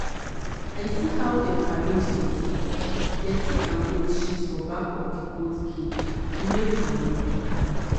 i see how dem arrange dirty-dirty and goat sheet for back of the goat cage to make manure.